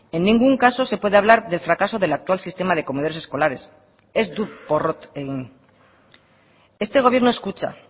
en ningún caso se puede hablar delfracaso del actual sistema de comedores escolares ez du porrot egin este gobierno escucha